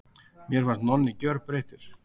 Mér fannst Nonni gjörbreyttur.